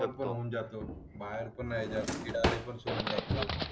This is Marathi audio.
खर्च होऊन जातो बाहेरचं मैदान क्रीडा लेबर्स होऊन जातो